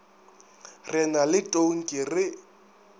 re na le tonki re